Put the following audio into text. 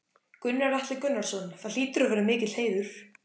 Gunnar Atli Gunnarsson: Það hlýtur að vera mikill heiður?